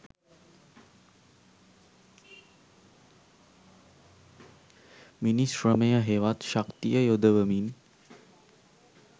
මිනිස් ශ්‍රමය හෙවත් ශක්තිය යොදවමින්